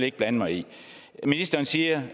ikke blande mig i ministeren siger